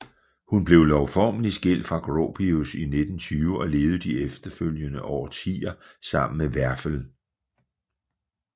Hun blev lovformelig skilt fra Gropius i 1920 og levede de følgende årtier sammen med Werfel